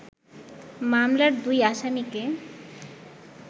মামলার দুই আসামিকে